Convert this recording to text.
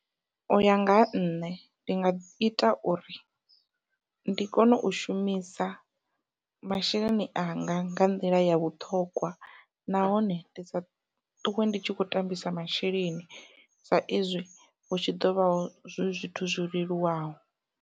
Uya nga ha nṋe ndi nga ita uri ndi kone u shumisa masheleni anga nga nḓila ya vhuṱhongwa nahone ndi sa ṱuwe ndi tshi kho tambisa masheleni sa izwi hu tshi ḓovha hu zwithu zwo leluwaho.